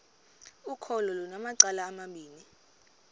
ukholo lunamacala amabini